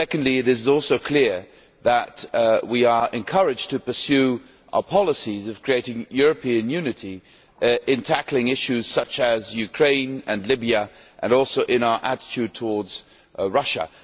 It is also clear that we are encouraged to pursue our policies of creating European unity in tackling issues such as Ukraine and Libya, and also in our attitude towards Russia.